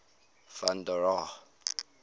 van der rohe